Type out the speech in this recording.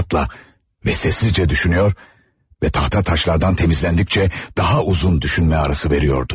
İnatla və səssizcə düşünüyordu və tahta daşlardan temizlendikçe daha uzun düşünmə arası veriyordu.